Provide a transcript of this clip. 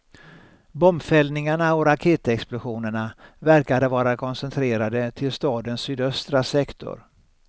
Bombfällningarna och raketexplosionerna verkade vara koncentrerade till stadens sydöstra sektor.